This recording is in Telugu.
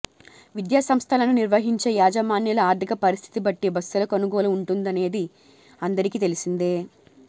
విద్యాసంస్థలను నిర్వహించే యాజమాన్యాల ఆర్థిక పరిస్థితి బట్టి బస్సుల కొనుగోలు ఉంటుందనేది అందరికీ తెలిసిందే